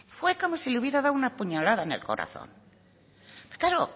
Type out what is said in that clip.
fue como si le hubiera dado una puñalada en el corazón claro